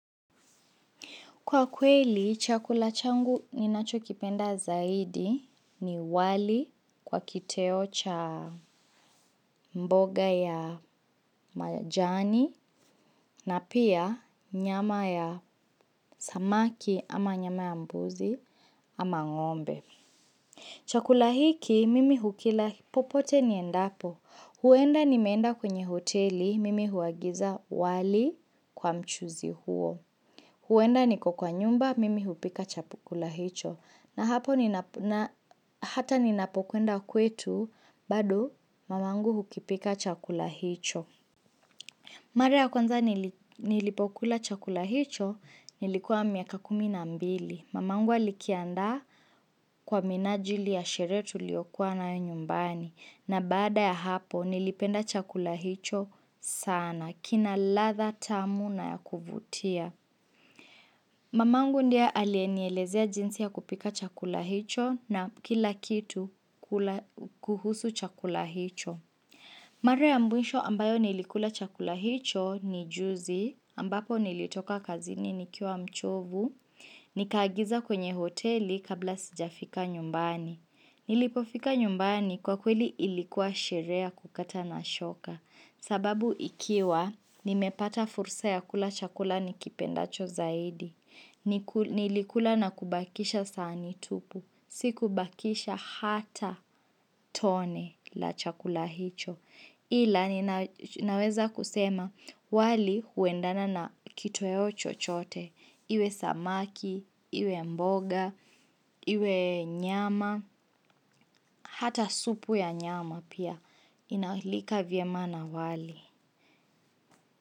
Kwa kweli, chakula changu ninachokipenda zaidi ni wali kwa kiteo cha mboga ya majani na pia nyama ya samaki ama nyama ya mbuzi ama ng'ombe. Chakula hiki, mimi hukila popote niendapo. Huenda nimeenda kwenye hoteli, mimi huagiza wali kwa mchuzi huo. Huenda niko kwa nyumba mimi hupika chakula hicho na hata ninapokwenda kwetu bado mamangu hukipika chakula hicho. Mara ya kwanza nilipokula chakula hicho nilikuwa miaka kumi na mbili. Mamangu alikiandaa kwa minajili ya sherehe tuliokua nayo nyumbani na baada ya hapo nilipenda chakula hicho sana kina latha tamu na ya kuvutia. Mamangu ndiye alienielezea jinsi ya kupika chakula hicho na kila kitu kuhusu chakula hicho. Mara ya mwisho ambayo nilikula chakula hicho ni juzi ambapo nilitoka kazini nikiwa mchovu, nikaagiza kwenye hoteli kabla sijafika nyumbani. Nilipofika nyumbani kwa kweli ilikuwa sherehe ya kukata na shoka. Sababu ikiwa, nimepata fursa ya kula chakula nikipendacho zaidi. Nilikula na kubakisha sahani tupu. Sikubakisha hata tone la chakula hicho. Ila ninaweza kusema, wali huendana na kitoweo chochote. Iwe samaki, iwe mboga, iwe nyama, hata supu ya nyama pia inalika vyema na wali.